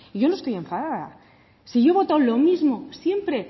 yo no estoy enfadada si yo he votado lo mismo siempre